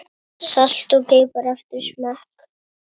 Salt og pipar eftir smekk.